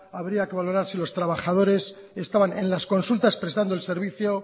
habría que valorar si los trabajadores estaban en las consultas prestando el servicio